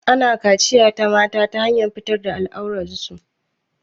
Ana kachiya na mata ta hanyar fitar da al'aurar su.